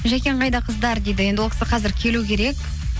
жакең қайда қыздар дейді енді ол кісі қазір келу керек